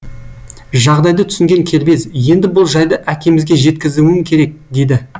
жағдайды түсінген кербез енді бұл жайды әкемізге жеткізуім керек деді